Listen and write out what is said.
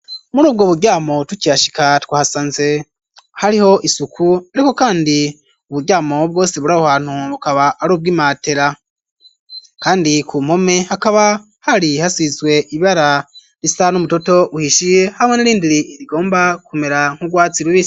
Muri ubwo buryamo tukihashika twasanze hariho isuku ariko kandi uburyamo bwose buri abo hantu bukaba ari ubw'imatera kandi ku mpome akaba hari hasubizwe ibara risa n'umutoto uhishiye habo n rindiri rigomba kumera nk'urwatsi rubisi.